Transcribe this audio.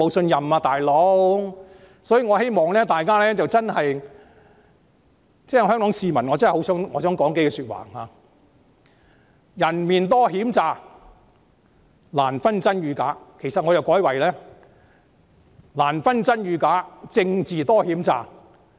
引用一句大家耳熟能詳的歌詞，"難分真與假人面多險詐"，我改為"難分真與假政治多險詐"。